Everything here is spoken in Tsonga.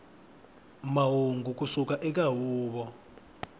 mahungu ku suka eka huvo